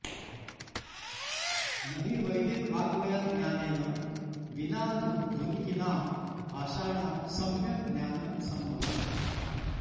न हि वैदिकवाङ्मयज्ञानेन विनाऽऽधुनिकीनां भाषाणां सम्यक् ज्ञानं सम्भवम्